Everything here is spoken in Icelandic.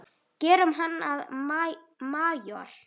Gerum hann að majór.